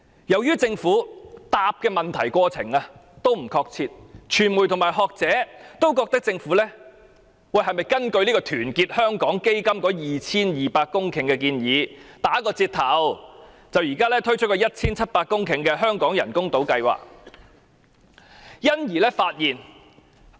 由於政府回覆問題時不確切，傳媒和學者也質疑，政府是否根據團結香港基金提出填海 2,200 公頃的建議，打個折頭，而推出目前 1,700 公頃的香港人工島計劃？